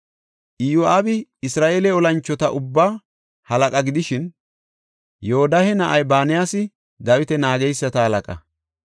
Iyo7aabi Isra7eele olanchota ubbaa halaqa gidishin, Yoodahe na7ay Banayasi Dawita naageysata halaqa.